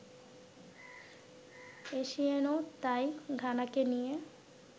এসিয়েনও তাই ঘানাকে নিয়ে